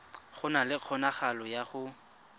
na le kgonagalo ya go